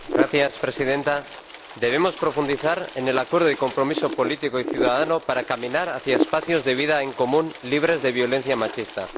Señora Presidenta, debemos profundizar en el acuerdo y compromiso político y ciudadano para caminar hacia espacios de vida en común libres de violencia machista.